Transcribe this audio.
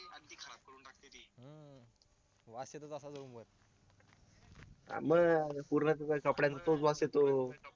पूर्ण तिच्या कपड्यांचाच वास येतो